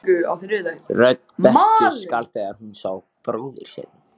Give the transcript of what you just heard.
Þú stendur þig vel, Valborg!